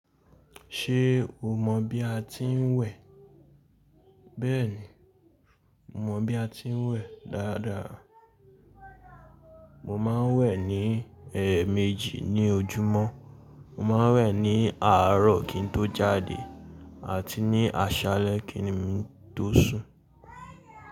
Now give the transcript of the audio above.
Ṣé o mọ̀ bí a ti ń wẹ̀? Bẹ́ẹ̀ni, mo mọ̀ bí a ti ń wẹ̀ dáadáa. Mo máa ń wẹ̀ ní ẹẹ méjì ní ojúmọ́. Mo máa ń wẹ̀ ní àárọ̀ kín tó jáde àti ní àṣálẹ́ kí nim tó sùn.